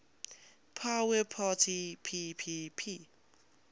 power parity ppp